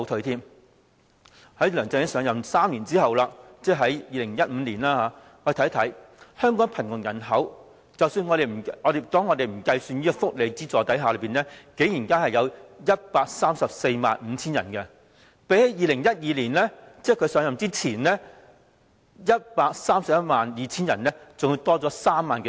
在梁振英上任3年後的2015年，我們看看香港的貧窮人口，在不計算福利補助的情況下，竟然有 1,345 000人，比起在2012年的 1,312 000人，增加了3萬多人。